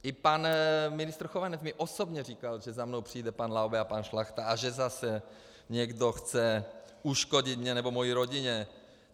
I pan ministr Chovanec mi osobně říkal, že za mnou přijde pan Laube a pan Šlachta a že zase někdo chce uškodit mně nebo mojí rodině.